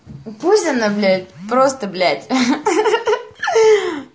пусть она блядь просто блядь